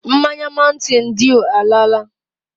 Mmanya mountain dew alaala.